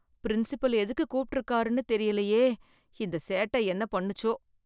Principal எதுக்கு கூப்பிட்டு இருக்காருன்னு தெரியலையே இந்த சேட்ட என்ன பண்ணுச்சோ?